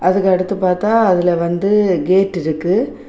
அதுக்கு அடுத்து பாத்தா அதுல வந்து கேட் இருக்கு.